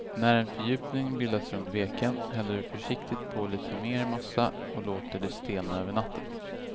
När en fördjupning bildats runt veken häller du försiktigt på lite mer massa och låter det stelna över natten.